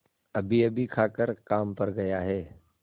अभीअभी खाकर काम पर गया है